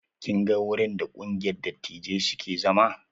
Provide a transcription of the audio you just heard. Kin ga wurin da ƙungiyar dattijai suke zama.